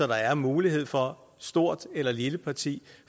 der er mulighed for stort eller lille parti